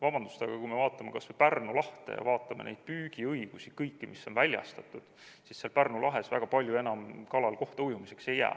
Vabandust, aga kui me vaatame kas või Pärnu lahte ja vaatame neid püügiõigusi, kõiki, mis on väljastatud, siis Pärnu lahes kalal väga palju enam kohta ujumiseks ei jää.